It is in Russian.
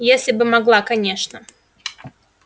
если бы могла конечно